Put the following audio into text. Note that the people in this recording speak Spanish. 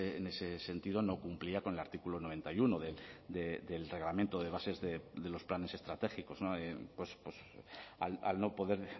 en ese sentido no cumplía con el artículo noventa y uno del reglamento de bases de los planes estratégicos al no poder